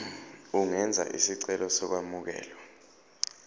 ungenza isicelo sokwamukelwa